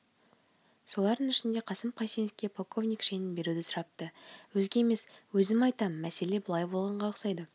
солардың ішінде қасым қайсеновке полковник шенін беруді сұрапты өзге емес өзім айтам мәселе былай болғанға ұқсайды